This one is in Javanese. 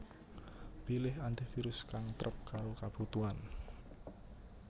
Pilih antivirus kang trep karo kabutuhan